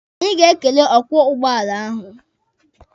Anyị ga-ekele ọkwọ ụgbọala ahụ.